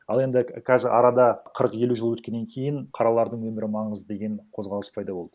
ал енді қазір арада қырық елу жыл өткеннен кейін қаралардың өмірі маңызды деген қозғалыс пайда болды